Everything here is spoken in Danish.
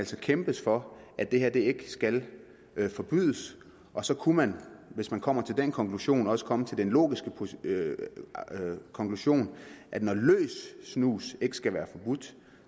skal kæmpes for at det her ikke skal forbydes og så kunne man hvis man kommer til den konklusion også komme til den logiske konklusion at når løs snus ikke skal være forbudt